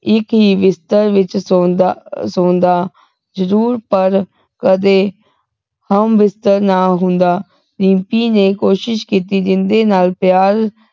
ਇਕ ਹੀ ਬਿਸਤਰ ਵਿਚ ਸੌਂਦਾ ਸੌਂਦਾ ਪਰ ਕਦੇ ਹਮਬਿਸਤਰ ਨਾ ਹੁੰਦਾ ਰਿੰਪੀ ਨੇ ਕੋਸ਼ਿਸ਼ ਕੀਤੀ ਜਿੰਦੇ ਨਾਲ ਪਿਆਰ